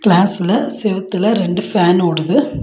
கிளாஸ்ல செவத்துல ரெண்டு ஃபேன் ஓடுது.